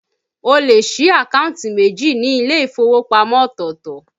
O lè sí àkántì méjì ni ilé ìfowópamọ́ ọ̀tọ̀ọ̀tọ̀